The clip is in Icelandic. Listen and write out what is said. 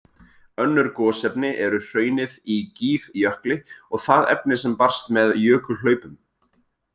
Önnur gosefni eru hraunið í Gígjökli og það efni sem barst með jökulhlaupum.